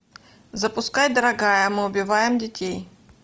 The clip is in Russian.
запускай дорогая мы убиваем детей